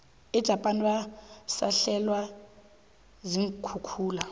ejapan basahlelwe ziinkhukhula